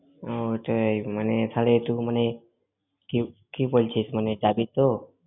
কি~ কি বলছিস, মানে পারবি তো?